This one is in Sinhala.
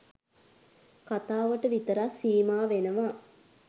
කතාවට විතරක් සීමා වෙනවා.